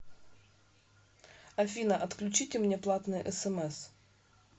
афина отключите мне платные смс